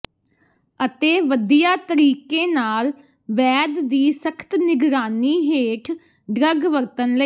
ਅਤੇ ਵਧੀਆ ਤਰੀਕੇ ਨਾਲ ਵੈਦ ਦੀ ਸਖਤ ਨਿਗਰਾਨੀ ਹੇਠ ਡਰੱਗ ਵਰਤਣ ਲਈ